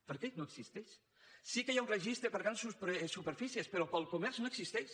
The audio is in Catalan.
per què no existeix sí que hi ha un registre per a grans superfícies però per al comerç no existeix